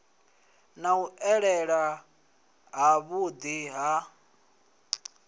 na u elela havhuḓi ha